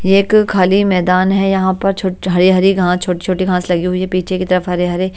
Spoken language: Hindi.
ये एक खाली मैदान है यहाँ पर छोट हरी-हरी घास छोटी-छोटी घास लगी हुई है पीछे की तरफ हरे हरे--